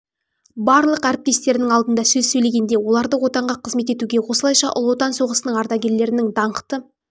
барлық әріптестерінің алдында сөз сөйлегенде оларды отанға қызмет етуге осылайша ұлы отан соғысының ардагерлерінің даңқты